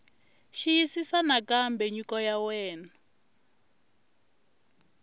xiyisisisa nakambe nyiko ya wena